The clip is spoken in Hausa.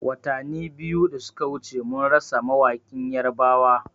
Watani biyu da suka wuce mun rasa mawaƙin yarbawa